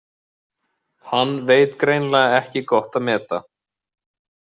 Hann veit greinilega ekki gott að meta.